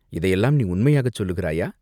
"இதையெல்லாம் நீ உண்மையாகச் சொல்லுகிறாயா?